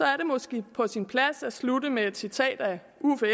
er det måske på sin plads at slutte med at citere uffe